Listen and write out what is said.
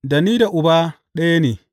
Da ni da Uba ɗaya ne.